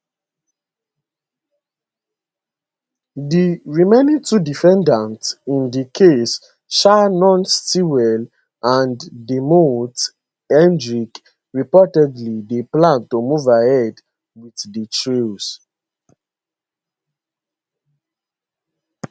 di remaining two defendants in di case shannon stillwell and deamonte kendrick reportedly dey plan to move ahead with dia trials